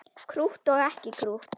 Krútt og ekki krútt.